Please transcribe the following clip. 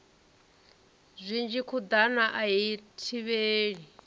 zwinzhi khuḓano a i thivhelei